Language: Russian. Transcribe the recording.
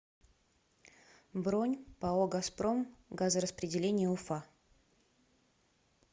бронь пао газпром газораспределение уфа